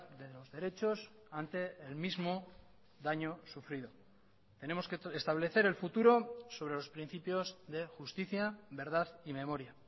de los derechos ante el mismo daño sufrido tenemos que establecer el futuro sobre los principios de justicia verdad y memoria